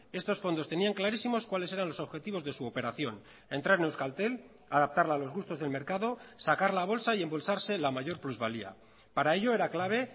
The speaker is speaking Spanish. estos fondos tenían clarísimos cuáles eran los objetivos de su operación entrar en euskaltel adaptarla a los gustos del mercado sacar la bolsa y embolsarse la mayor plusvalía para ello era clave